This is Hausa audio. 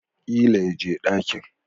Ƙila yaje dakin